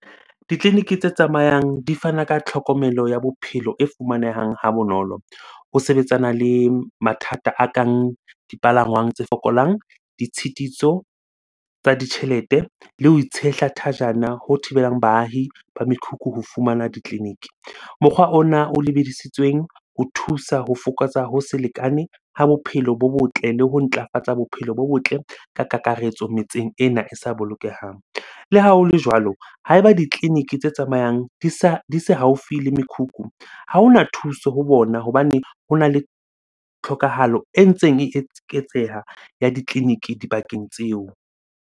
Ditleliniki tse tsamayang di fana ka tlhokomelo ya bophelo e fumanehang ha bonolo. Ho sebetsana le mathata a kang dipalangwang tse fokolang, ditshitiso tsa ditjhelete le ho itshehla thajana ho thibelang baahi ba mekhukhu ho fumana ditleliniki. Mokgwa ona o lebedisitsweng ho thusa ho fokotsa, ho se lekane ha bophelo bo botle le ho ntlafatsa bophelo bo botle ka kakaretso metseng ena e sa bolokehang. Le ha ho le jwalo, ha eba ditleliniki tse tsamayang di se haufi le mekhukhu, ha hona thuso ho bona hobane hona le tlhokahalo e ntseng e eketseha ya ditleliniki dibakeng tseo.